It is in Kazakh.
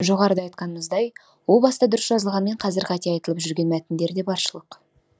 жоғарыда айтқанымыздай о баста дұрыс жазылғанмен қазір қате айтылып жүрген мәтіндер де баршылық